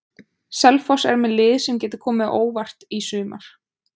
Selfoss er með lið sem getur komið á óvart í sumar.